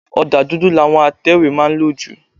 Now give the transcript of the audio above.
Ọ̀dà dùdù làwọn atẹ̀wétà má ń lò jù.